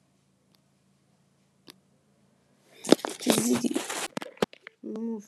we go one wedding where the couple choose traditional music make we use gbedu